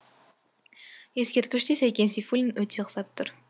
ескерткіште сәкен сейфуллин өте ұқсап тұр